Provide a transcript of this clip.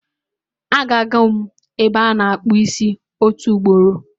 A ga go m ebe ana akpu isi otu ugboro